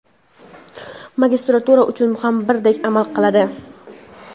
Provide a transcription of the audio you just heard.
magistratura uchun ham birdek amal qiladi.